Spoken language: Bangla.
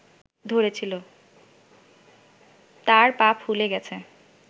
তাঁর পা ফুলে গেছে